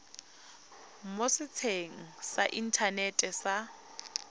mo setsheng sa inthanete sa